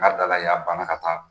ka taa